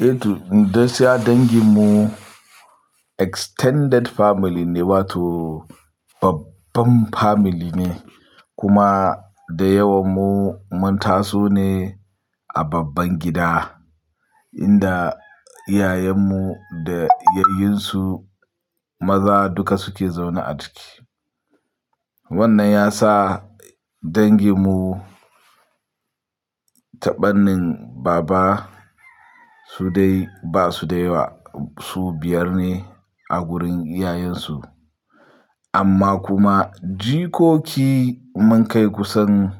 Eh to, gaskiya dangin mu extended family ne, wato babban family ne kuma da yawan mu mun taso ne a babban gida inda iyayen mu da yayyin su maza duka suke zaune a ciki. Wannan ya sa dangin mu ta fannin baba su dai ba su da yawa, su biyar ne a gurin iyayen su. Amma kuma jikoki mun kai kusan